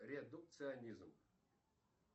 редукционизм